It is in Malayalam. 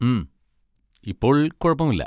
ഉം, ഇപ്പോൾ കുഴപ്പമില്ല.